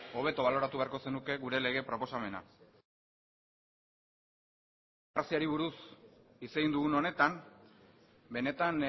hobeto baloratu beharko zenuke gure lege proposamena beste alde batetik demokraziari buruz hitz egin dugun honetan benetan